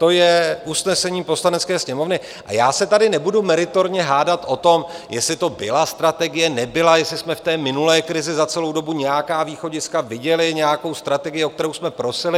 To je usnesení Poslanecké sněmovny a já se tady nebudu meritorně hádat o tom, jestli to byla strategie, nebyla, jestli jsme v té minulé krizi za celou dobu nějaká východiska viděli, nějakou strategii, o kterou jsme prosili.